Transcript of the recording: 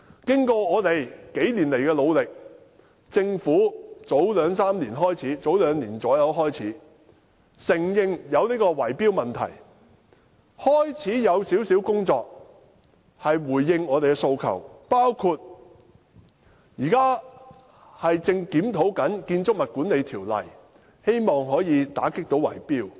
經過我們幾年來的努力，政府大約在兩年前開始承認有圍標問題，開始進行少許工作，回應我們的訴求，包括現正檢討《建築物管理條例》，希望可以打擊圍標。